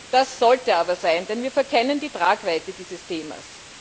Das sollte es aber sein, denn wir verkennen die Tragweite dieses Themas.